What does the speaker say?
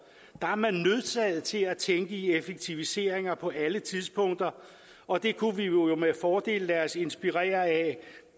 der er man nødsaget til at tænke i effektiviseringer på alle tidspunkter og det kunne vi jo med fordel lade os inspirere af